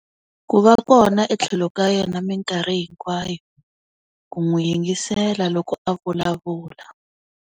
Ku va kona etlhelo ka yena minkarhi hinkwayo. Ku n'wi yingisela loko a vulavula.